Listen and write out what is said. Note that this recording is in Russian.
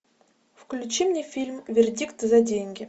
включи мне фильм вердикт за деньги